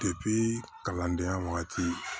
kalandenya wagati